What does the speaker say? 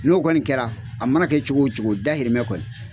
N'o kɔni kɛra a mana kɛ cogo o cogo dayirimɛ kɔni